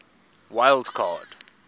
wild card